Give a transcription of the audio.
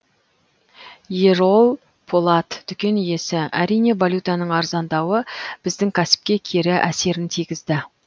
ерол полат дүкен иесі әрине валютаның арзандауы біздің кәсіпке кері әсерін тигізді